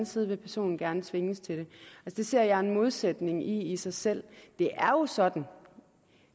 side vil personen gerne tvinges til det det ser jeg en modsætning i i sig selv det er jo sådan og